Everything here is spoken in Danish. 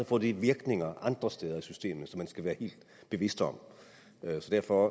får det virkninger andre steder i systemet som man skal være helt bevidst om så derfor